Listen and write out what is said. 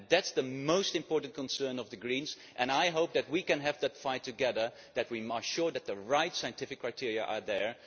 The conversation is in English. That is the most important concern of the Greens, and I hope that we can have that fight together, so that we are sure that the right scientific criteria are there.